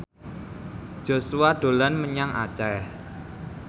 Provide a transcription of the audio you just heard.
Joshua dolan menyang Aceh